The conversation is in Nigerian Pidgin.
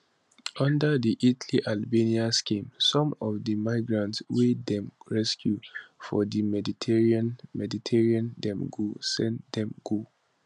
under di italyalbania scheme some of di migrants wey dem rescue for di mediterranean mediterranean dem go send dem go